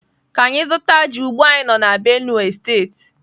Ka anyi zuta ji ugbua anyi no na Benue state.